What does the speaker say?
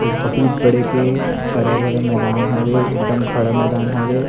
एक बहुत बड़े के हरा-भरा मैदान हवे एकदम खड़ा मैदान हवे।